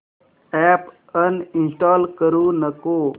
app uninstall करू नको